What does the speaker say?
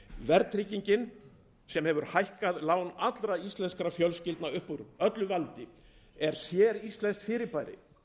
verðtryggingin sem hefur hækkað lán allra íslenskra fjölskyldna upp úr öllu valdi er séríslenskt fyrirbæri